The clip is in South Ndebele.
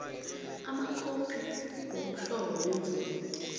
amakhophi womhlobo wemvumo